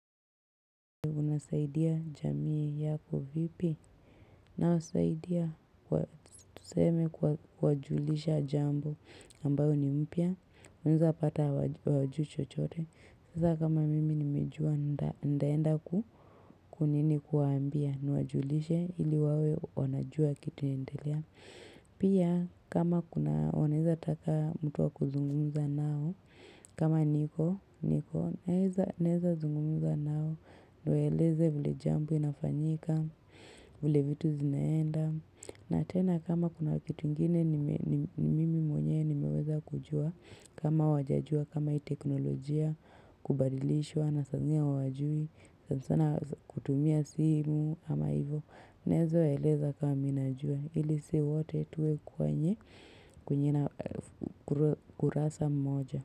Unasaidia jamii yako vipi nawasaidia kwa tuseme kwa kuwajulisha jambo ambayo ni mpya. Unaweza pata hawajui chochote. Sasa kama mimi nimejua ntaenda kuwaambia nuwajulishe ili wawe wanajua kitu inaendelea. Pia kama kuna waneza taka mtu wa kuzungumza nao. Kama niko, niko, naweza zungumza nao Niwaeleze vile jambo inafanyika vile vitu zinaenda na tena kama kuna kitu ingine nime Mimi mwenye nimeweza kujua kama hawajajua, kama hii teknolojia Kubadilishwa, na saa zingine hawajui sana sana kutumia simu ama hivo Naweza waeleza kama mimi najua Ili sisi wote tuwe kwenye kurasa mmoja.